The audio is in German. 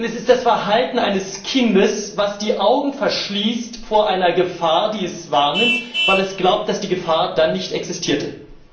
Denn es ist das Verhalten eines Kindes, das die Augen verschließt vor einer Gefahr, die es wahrnimmt, weil es glaubt, dass die Gefahr dann nicht existiere.